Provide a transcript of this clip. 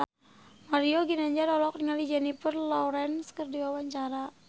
Mario Ginanjar olohok ningali Jennifer Lawrence keur diwawancara